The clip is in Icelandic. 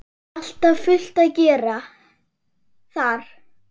Alltaf fullt að gera þar!